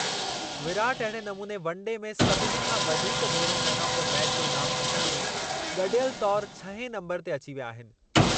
विराट अहिड़े नमूने वनडे में सभिनी खां वधीक भेरो मैन ऑफ द मैचु जो इनामु खटण में गॾियल तौर छहें नंबरु ते अची विया आहिनि।